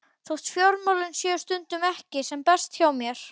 Þótt fjármálin séu stundum ekki sem best hjá mér